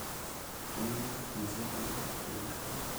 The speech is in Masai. Kutumia chepei adung inkariak